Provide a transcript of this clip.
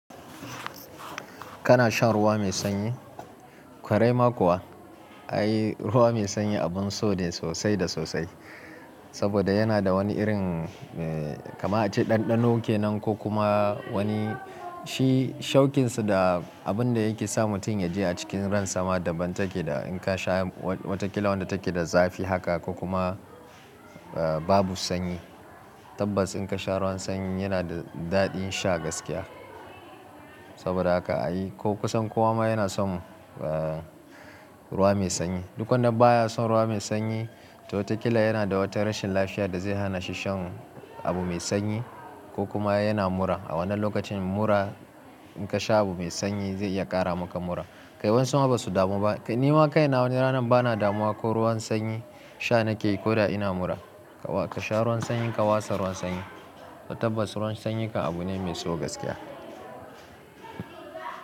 Kana shan ruwa mai sanyi? Kwarai ma kuwa, ai ruwa mai sanyi abun so ne sosai da sosai. Saboda yana da wani irin eh kaman a ce ɗanɗano kenan ko kuma wani shi shaukinsa da abin da yake sa mutum ya je a cikin ran sama dabban take da in ka sha wataƙila wanda take da zafi haka ko kuma babu sanyi. Tabbas in ka sha ruwan sanyi yana da daɗin sha gaskiya. Saboda haka ai ko kusan kowa ma yana son eh ruwa mai sanyi. Duk wanda baya son ruwa mai sanyi to watakila yana da wata rashin lafiya da zai hana shi shan abu mai sanyi ko kuma yana mura. A wannan lokacin mura in ka sha abu mai sanyi zai iya ƙara maka mura. Kai waƴansu ma basu damu ba. Nima kaina wani ranan bana damuwa ko ruwan sanyi sha nake yi ko da ina mura. Ka sha ruwan sanyi ka watsa ruwan sanyi. Tabbas ruwan sanyi mak abu ne mai so gaskiya.